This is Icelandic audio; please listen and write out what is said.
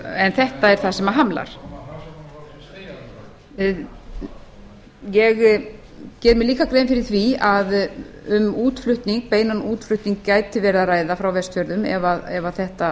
en þetta er það sem hamlar ég geri mér líka grein fyrir því að um beinan útflutning gæti verið að ræða frá vestfjörðum ef þetta